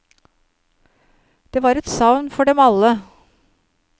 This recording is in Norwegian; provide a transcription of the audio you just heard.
Det var et savn for dem alle.